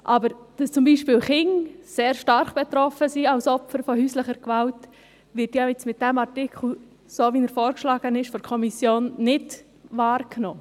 Dass aber zum Beispiel Kinder sehr stark als Opfer von häuslicher Gewalt betroffen sind, wird mit dem Artikel – so wie er von der Kommission vorgeschlagen wird – nicht wahrgenommen.